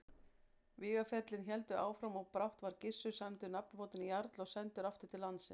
Vígaferlin héldu áfram og brátt var Gissur sæmdur nafnbótinni jarl og sendur aftur til landsins.